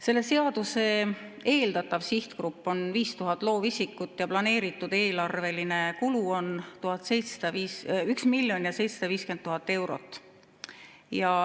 Selle seaduse eeldatav sihtgrupp on 5000 loovisikut ja planeeritud eelarveline kulu on 1 miljon ja 750 000 eurot.